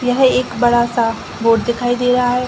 यह एक बड़ा सा बोर्ड दिखाई दे रहा है।